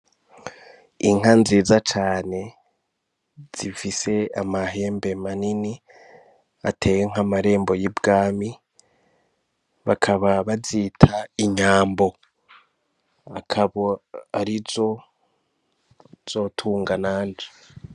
Inka nziza cane zifise amahembe manini ateye nk'amarembo y'i Bwami, bakaba bazita inyambo akaba ari zo nzotunga nanje.